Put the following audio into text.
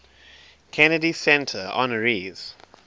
kennedy center honorees